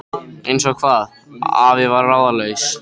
Eins og hvað? afi var ráðalaus.